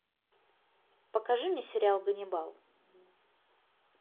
покажи мне сериал ганнибал